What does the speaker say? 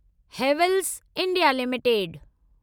Havells India limited